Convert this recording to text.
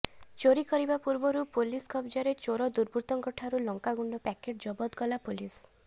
ଚୋରି କରିବା ପୂର୍ବରୁ ପୋଲିସ୍ କବ୍ଜାରେ ଚୋର ଦୁର୍ବୃତ୍ତଙ୍କଠାରୁ ଲଙ୍କାଗୁଣ୍ଡ ପ୍ୟାକେଟ୍ ଜବତ କଲା ପୋଲିସ୍